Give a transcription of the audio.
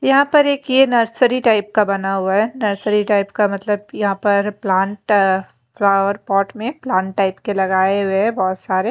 यहाँ पर एक ये नर्सरी टाइप का बना हुआ है नर्सरी टाइप का मतलब यहाँ पर प्लांट फ्लावर पॉट में प्लांट टाइप के लगाए हुए हैं बहुत सारे --